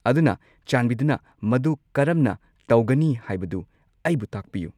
ꯑꯗꯨꯅ, ꯆꯥꯟꯕꯤꯗꯨꯅ ꯃꯗꯨ ꯀꯔꯝꯅ ꯇꯧꯒꯅꯤ ꯍꯥꯏꯕꯗꯨ ꯑꯩꯕꯨ ꯇꯥꯛꯄꯤꯌꯨ꯫